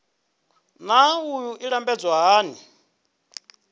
naa wua i lambedzwa hani